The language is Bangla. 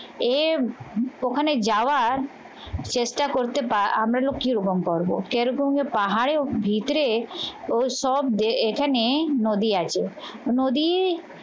এ ওখানে যাওয়ার চেষ্টা করতে পারে আমরা লক্ষীর রূপম করবো। কেরকম পাহাড়ে ভিতরে ও সব এখানে নদী আছে নদী